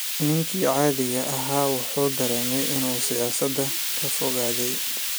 Ninkii caadiga ahaa waxa uu dareemay in uu siyaasadda ka fogaaday.